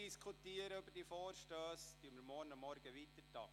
Diskutieren wir lange über die Vorstösse, werden wir morgen weiterfahren.